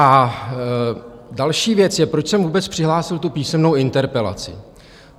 A další věc je, proč jsem vůbec přihlásil tu písemnou interpelaci.